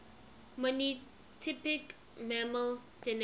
monotypic mammal genera